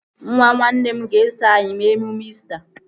Nwa nwanne m ga-eso anyị mee emume İsita